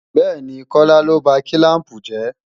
Bẹ́ẹ̀ni, Kọ́lá ló ba kílàmpù jẹ́